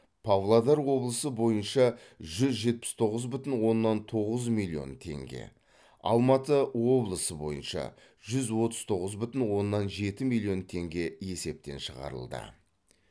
павлодар облысы бойынша жүз жетпіс тоғыз бүтін оннан тоғыз миллион теңге алматы облысы бойынша жүз отыз тоғыз бүтін оннан жеті миллион теңге есептен шығарылды